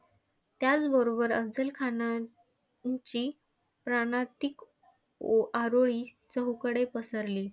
त्याचबरोबर अफझलखानाची प्राणांतिक ओआरोळी चहूकडे पसरली.